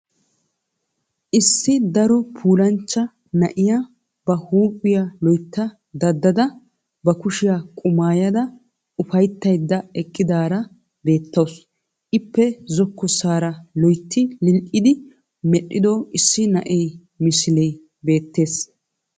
Issi daro puulanchcha na'iya ba huuphphiya loytta daddada, ba kushshiyaa qumaayada ufayttaydda eqidaara beetawusu. Ippe zokossaara loytti lili'idi medhdhido issi na'ee misille beettes.